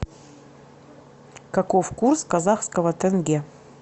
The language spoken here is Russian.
каков курс казахского тенге